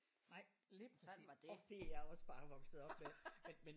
Nej lige præcis. Og det er jeg også bare vokset op med